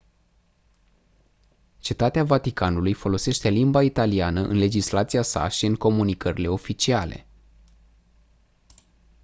cetatea vaticanului folosește limba italiană în legislația sa și în comunicările oficiale